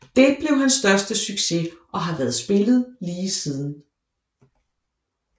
Det blev hans største succes og har været spillet lige siden